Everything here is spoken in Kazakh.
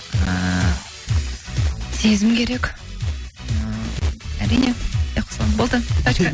ііі сезім керек і әрине қосыламын болды точка